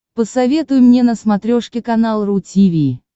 посоветуй мне на смотрешке канал ру ти ви